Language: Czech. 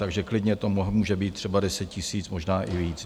Takže klidně to může být třeba 10 000, možná i víc.